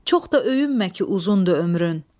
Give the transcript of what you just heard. Çox da öyünmə ki, uzundur ömrün.